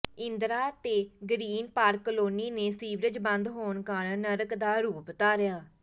ਇੰਦਰਾ ਤੇ green park colony ਨੇ sewerage ਬੰਦ ਹੋਣ ਕਾਰਨ ਨਰਕ ਦਾ ਰੂਪ ਧਾਰਿਆ